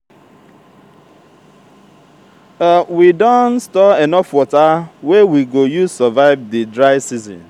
we don store enough water wey we go use survive di dry season.